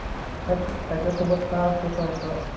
त्याच्यासोबत का असतोस सारखा?